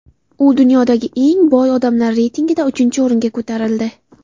U dunyodagi eng boy odamlar reytingida uchinchi o‘ringa ko‘tarildi .